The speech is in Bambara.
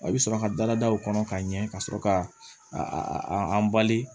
I bɛ sɔrɔ ka dalada o kɔnɔ ka ɲɛ ka sɔrɔ ka a an bali